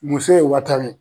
Muso ye wa tan ye